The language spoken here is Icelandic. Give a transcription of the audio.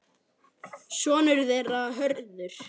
Sonur þeirra Hörður.